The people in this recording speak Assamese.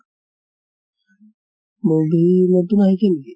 movie নতুন আহিছে নেকি?